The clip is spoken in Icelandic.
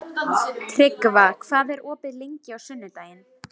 Tryggva, hvað er opið lengi á sunnudaginn?